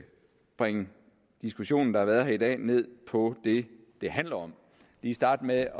bringe diskussionen der har været her i dag ned på det det handler om lige starte med at